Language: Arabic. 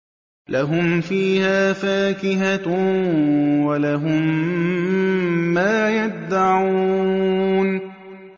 لَهُمْ فِيهَا فَاكِهَةٌ وَلَهُم مَّا يَدَّعُونَ